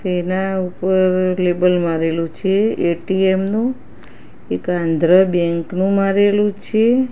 તેના ઉપર લેબલ મારેલુ છે એ_ટી_એમ નુ એક આંધ્ર બેંક નુ મારેલું છે.